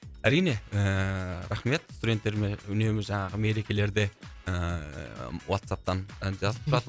әрине ііі рахмет студенттеріме үнемі жаңағы мерекелерде ііі уатсаптан і жазып тұрады